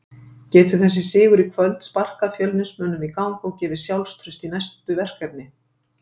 Getur þessi sigur í kvöld sparkað Fjölnismönnum í gang og gefið sjálfstraust í næstu verkefni?